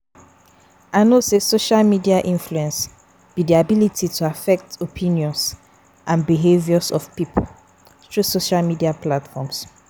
I know say social media influence be di ability to affect opinions and behaviors of people through social media platforms.